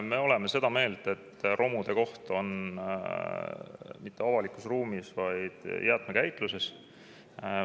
Me oleme seda meelt, et romude koht ei ole avalikus ruumis, vaid on jäätmekäitluses.